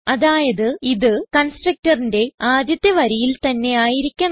അതായത് ഇത് constructorന്റെ ആദ്യത്തെ വരിയിൽ തന്നെ ആയിരിക്കണം